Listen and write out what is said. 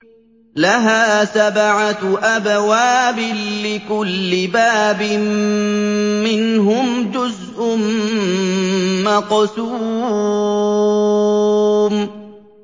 لَهَا سَبْعَةُ أَبْوَابٍ لِّكُلِّ بَابٍ مِّنْهُمْ جُزْءٌ مَّقْسُومٌ